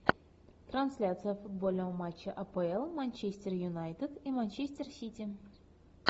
трансляция футбольного матча апл манчестер юнайтед и манчестер сити